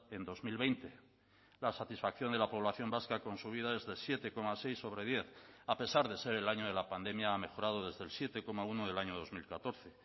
en dos mil veinte la satisfacción de la población vasca con su vida es de siete coma seis sobre diez a pesar de ser el año de la pandemia ha mejorado desde el siete coma uno del año dos mil catorce